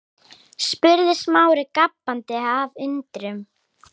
spurði Smári gapandi af undrun.